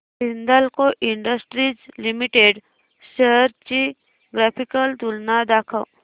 Hindalco industries limited shares ची graphical तुलना दाखव